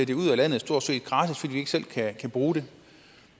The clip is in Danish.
det ud af landet stort set gratis fordi vi ikke selv kan bruge det